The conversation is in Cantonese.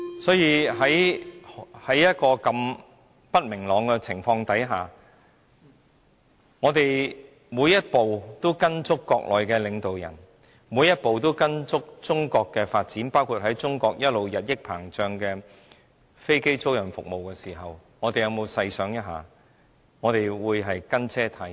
所以，在如此不明朗的情況下，如果我們每一步也依隨國內的領導人，每一步也依隨中國的發展，包括發展中國日益膨脹的飛機租賃服務，我們有否細想一下，我們是否"跟車"太貼？